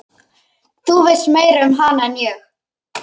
Þú veist meira um hana en ég.